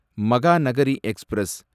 Mahanagari express